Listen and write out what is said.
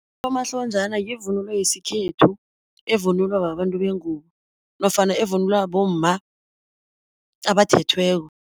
Unomahlonjana yivunulo yesikhethu evunulwa babantu bengubo, nofana evunulwa bomma abathethweko.